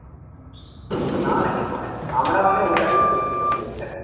না না কিছু হয় নাই আমরা মানে ওর কাছেই পড়তে যেতাম জীবক sir এর কাছে